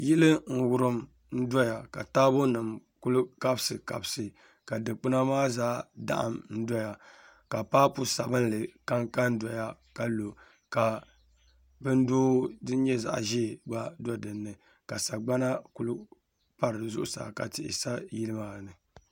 Yili n wurim n doya ka taabo nim ku kabisi kabisi ka dikpuna maa zaa daɣam doya ka paapu sabinli kanka n doya ka lo ka bin doo din nyɛ zaɣ ʒiɛ gba do dinni ka sagbana ku pa di zuɣusaa ka tihi sa yili maa ni